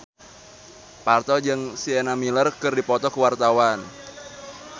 Parto jeung Sienna Miller keur dipoto ku wartawan